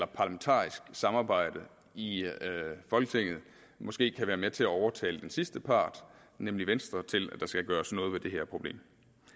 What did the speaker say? parlamentarisk samarbejde i folketinget måske kan være med til at overtale den sidste part nemlig venstre til at der skal gøres noget ved det her problem